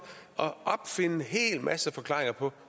at opfinde en hel masse forklaringer på